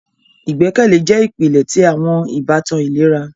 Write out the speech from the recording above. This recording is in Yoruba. Igbẹkẹle jẹ ipilẹ ti awọn ibatan ilera.